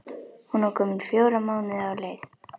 Hún var komin fjóra mánuði á leið.